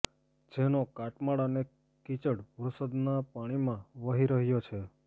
જેનો કાટમાળ અને કિચડ વરસાદના પાણીમાં વહી રહ્યો છે